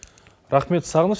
рахмет сағыныш